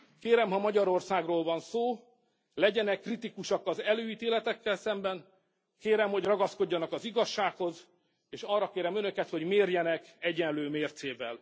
Kérem, ha Magyarországról van szó, legyenek kritikusak az előítéletekkel szemben, kérem, hogy ragaszkodjanak az igazsághoz, és arra kérem Önöket, hogy mérjenek egyenlő mércével.